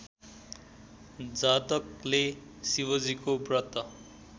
जातकले शिवजीको व्रत